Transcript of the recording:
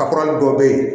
A kura dɔ bɛ yen